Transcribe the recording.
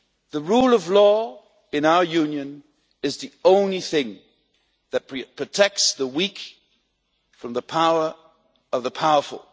The rule of law in our Union is the only thing that protects the weak from the power of the powerful.